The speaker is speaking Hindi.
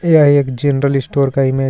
यह एक जनरल स्टोर का इमेज हे.